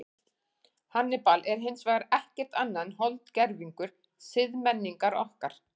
Hannibal er hins vegar ekkert annað en holdgervingur siðmenningar okkar.